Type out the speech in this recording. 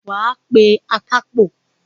Wàá pé akápò